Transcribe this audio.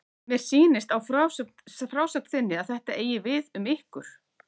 Mér sýnist á frásögn þinni að þetta eigi við um ykkur.